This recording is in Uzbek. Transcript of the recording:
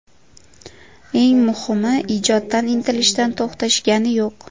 Eng muhimi, ijoddan, intilishdan to‘xtashgani yo‘q.